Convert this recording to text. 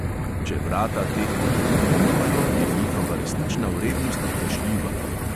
Če vrata teh potrdil nimajo, je njihova resnična vrednost vprašljiva.